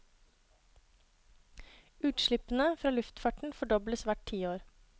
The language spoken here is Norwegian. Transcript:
Utslippene fra luftfarten fordobles hvert tiår.